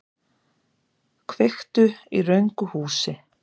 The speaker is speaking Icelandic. Kveiktu í röngu húsi